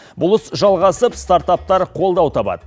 бұл іс жалғасып стартаптар қолдау табады